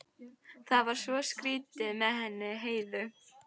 Það var svo skrýtið með hana Heiðu.